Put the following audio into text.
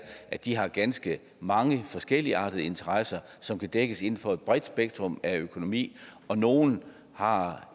at de har ganske mange forskelligartede interesser som kan dækkes inden for et bredt spektrum af økonomi og nogle har